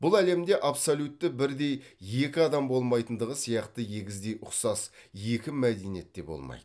бұл әлемде абсолютті бірдей екі адам болмайтындығы сияқты егіздей ұқсас екі мәдениет те болмайды